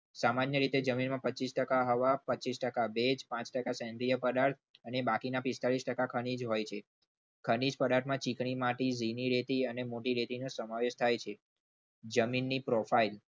સામાન્ય રીતે જમીનમાં પચીસ ટકા હવા પચીસ ટકા ભેજ પાંચ ટકા સેન્દ્રીય પદાર્થો અને બાકીના પિસ્તાલીસ ટકા ખનીજ હોય છે ખનીજ પદાર્થમાં ચીકણી માટી ભીની રહેતી મોટી રેતી નો સમાવેશ થાય છે. જમીનની profile